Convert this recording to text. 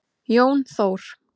Jón Þór.